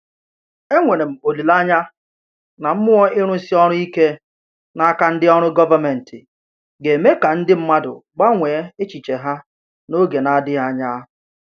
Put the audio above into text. Enwere m olile anya na mmụọ ịrụsi ọrụ ike n’aka ndị ọrụ gọvanmentị ga-eme ka ndị mmadụ gbanwee echiche ha n’oge na-adịghị anya.